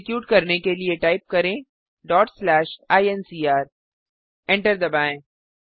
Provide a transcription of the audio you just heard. execute करने के लिए टाइप करें ईएनसीआर एंटर दबाएँ